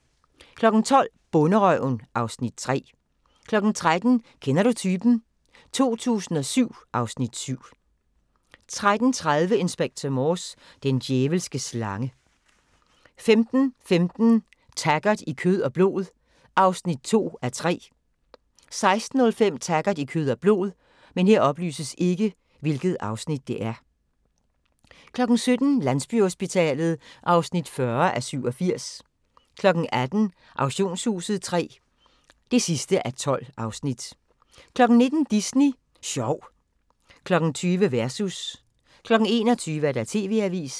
12:00: Bonderøven (Afs. 3) 13:00: Kender du typen? 2007 (Afs. 7) 13:30: Inspector Morse: Den djævelske slange 15:15: Taggart: I kød og blod (2:3) 16:05: Taggart: I kød og blod 17:00: Landsbyhospitalet (40:87) 18:00: Auktionshuset III (12:12) 19:00: Disney Sjov 20:00: Versus 21:00: TV-avisen